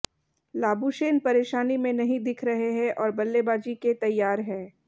Labuschagne परेशानी में नहीं दिख रहे हैं और बल्लेबाजी के तैयार हैं